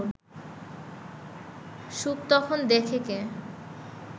সুখ তখন দেখে কে